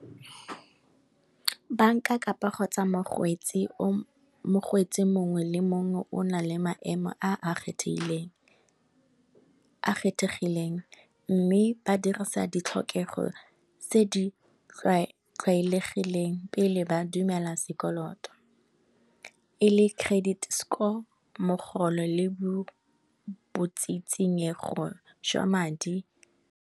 Banka kapa kgotsa mokgweetsi mongwe le mongwe o na le maemo a kgethegileng, mme ba dirisa di tlhokego tse di tlwaelegileng pele ba dumela sekoloto e le credit score, mogolo le botsitsinyego jwa madi.